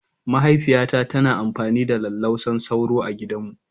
Mahaifiyata tana amfani da lallausan sauro A gidanmu.